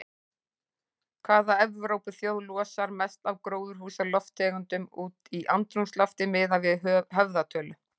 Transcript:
Hvaða Evrópuþjóð losar mest af gróðurhúsalofttegundum út í andrúmsloftið miðað við höfðatölu?